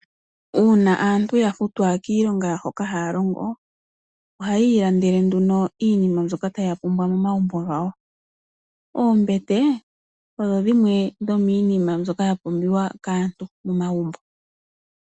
Uuna aantu yafutwa kiilonga hoka haya longo ohayi landele nduno iinima mbyoka taya pumbwa momagumbo gawo. Ombete odho dhimwe dhominima mbyono yapumbiwa kaantu momagumbo.